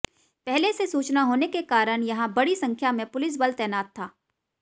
पहले से सूचना होने के कारण यहां बड़ी संख्या में पुलिस बल तैनात था